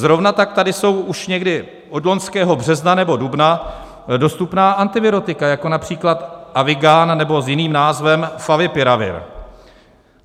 Zrovna tak tady jsou už někdy od loňského března nebo dubna dostupná antivirotika, jako například Avigan nebo s jiným názvem Favipiravir.